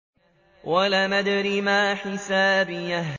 وَلَمْ أَدْرِ مَا حِسَابِيَهْ